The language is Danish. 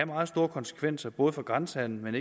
meget store konsekvenser for både grænsehandelen